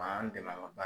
A b'an dɛmɛ an ka